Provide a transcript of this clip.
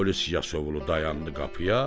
polis Yasovulu dayandı qapıya